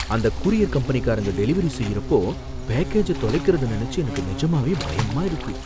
அந்த courier company delivery செய்யறப்போ பேக்கேஜ தொலைக்கிறத நினைச்சி எனக்கு நிஜமாவே பயமாயிருக்கு.